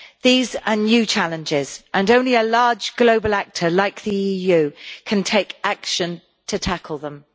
These are new challenges, and only a large global actor like the EU can take action to tackle them.